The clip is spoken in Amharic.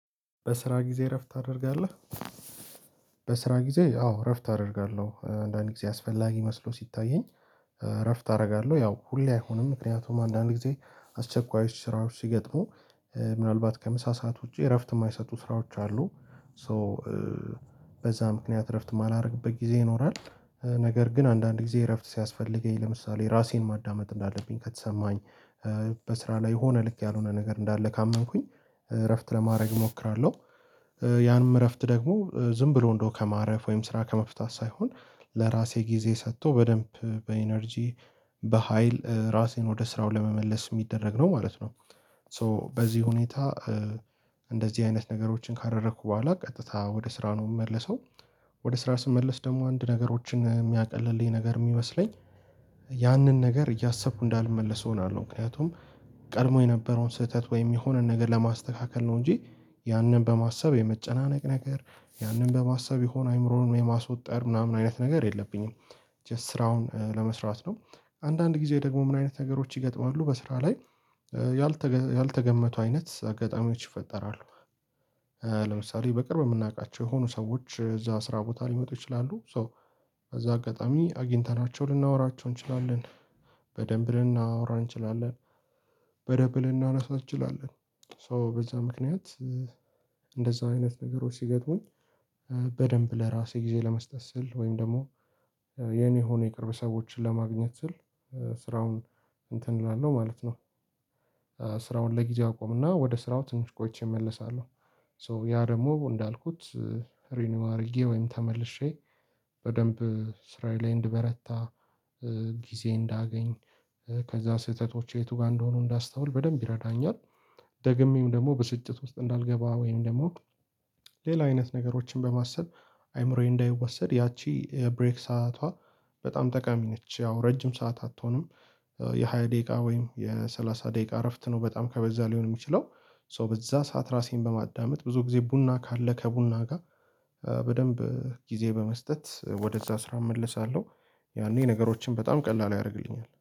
በስራ ጊዜ እረፍት ታደርጋለህ? በስራ ጊዜ አዎ እረፍት አደርጋለሁ አንዳንዴ ጊዜ አስፈላጊ መስሎ ሲታየኝ እረፍት አደርጋለሁ ያው ሁሌ አይሆንም። ምክንያቱም አንዳንድ ጊዜ አስቸኳዮች ስራዎች ሲገጥሙ ምናልባት ከምሳ ሰዓት ውጪ እረፍት የማይሰጡ ስራዎች አሉ። ሶ በዛ ምክንያት እረፍት ማላደርግበት ጊዜ ይኖራል። ነገር ግን አንዳንድ ጊዜ እረፍት ሲያስፈልገኝ ለምሳሌ ራሴን ማዳመጥ እንዳለብኝ ከተሰማኝ በስራ ላይ የሆነ ልክ ያልሆነ ነገር እንዳለ ካመንኩኝ እረፍት ለማድረግ እሞክራለሁ። ያንም እረፍት ደግሞ ዝም ብሎ እንደው ከማረፍ ወይም ስራ ከመፍታት ሳይሆን ለራሴ ጊዜ ሰጥቶ በደንብ በኢነርጂ በሃይል ራሴን ወደ ስራው ለመመለስ የሚደረግ ነው ማለት ነው። ሶ በዚህ ሁኔታ እንደዚህ አይነት ነገሮችን ካደረኩ በኋላ ቀጥታ ወደ ስራ ነው የምመለሰው። ወደ ስራ ስመለስ ደግሞ አንድ ነገሮችን የሚያቀልልኝ ነገር የሚመስለኝ ያንን ነገር እያሰብኩ እንዳልመለሰው እሆናለሁ ምክንያቱም። ቀድሞ የነበረውን ስህተት ወይም የሆነን ነገር ለማስተካከል ነው እንጂ። ያንን በማሰብ የመጨናነቅ ነገር ያንን በማሰብ የሆነ አይምሮን የማስወጠር ምናምን አይነት ነገር የለብኝም። ጀስት ስራውን ለመስራት ነው። አንዳንድ ጊዜ ደግሞ ምን አይነት ነገሮች ይገጥማሉ በስራ ላይ ያልተገመቱ አይነት አጋጣሚዎች ይፈጠራሉ። ለምሳሌ በቅርብ የምናውቃቸው የሆኑ ሰዎች እዛ ስራ ቦታ ሊመጡ ይችላሉ። ሶ እዛ አጋጣሚ አግኝተናቸው ልናወራቸው እንችላለን። በደንብ ልናወራ እንችላለን። በደንብ እናነሳው እንችላለን። ሶ በዛ ምክንያት እንደዛ አይነት ነገሮች ሲገጥሙኝ። በደንብ ለራሴ ጊዜ ለመስጠት ስል ወይም ደግሞ የኔ ሆኖ የቅርብ ሰዎችን ለማግኘት ስል ስራውን እንትን እላለሁ ማለት ነው። ስራውን ለጊዜ አቆምና ወደ ስራው ትንሽ ቆይቼ እመለሳለሁ። ሶ ያ ደግሞ እንዳልኩት። ሪኒው አድርጌ ወይም ተመልሼ በደንብ ስራዬ ላይ እንድበረታ ጊዜ እንዳገኝ ከዛ ስህተቶች የቱ ጋር እንደሆኑ እንዳስተውል በደንብ ይረዳኛል። ደግሜም ደግሞ ብስጭት ውስጥ እንዳልገባ ወይም ደግሞ ሌላ አይነት ነገሮችን በማሰብ አይምሮዬ እንዳይወሰድ ያቺ የብሬክ ሰዓቷ በጣም ጠቃሚ ነች ያው ረጅም ሰዓት አትሆንም። የሃያ ደቂቃ ወይም የሰላሳ ደቂቃ እረፍት ነው በጣም ከበዛ ሊሆን የሚችለው። ሶ በዛ ሰዓት ራሴን በማዳመጥ ብዙ ጊዜ ቡና ካለ ከቡና ጋር በደንብ ጊዜ በመስጠት ወደዛ ስራ እመለሳለሁ። ያኔ ነገሮችን በጣም ቀላል ያደርግልኛል